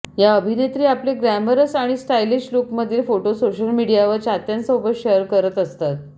या अभिनेत्री आपले ग्लॅमरस आणि स्टायलिश लुकमधील फोटो सोशल मीडियावर चाहत्यांसोबत शेअर करत असतात